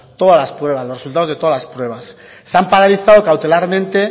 todas las pruebas los resultados de todas las pruebas se han paralizado cautelarmente